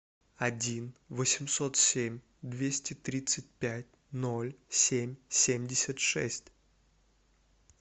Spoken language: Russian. один восемьсот семь двести тридцать пять ноль семь семьдесят шесть